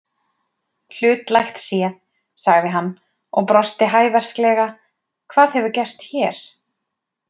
Hlutlægt séð, sagði hann og brosti hæversklega, hvað hefur gerst hér?